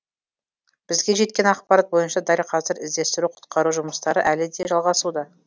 бізге жеткен ақпарат бойынша дәл қазір іздестіру құтқару жұмыстары әлі де жалғасуда